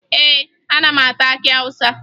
Ee, ana m ata akị Awụsa